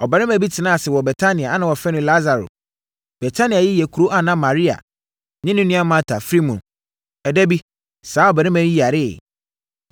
Ɔbarima bi tenaa ase wɔ Betania a na wɔfrɛ no Lasaro. Betania yi yɛ kuro a na Maria ne ne nua Marta firi mu. Ɛda bi, saa ɔbarima yi yareeɛ.